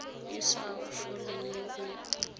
e sa foleng yo o